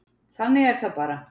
Þannig er það bara.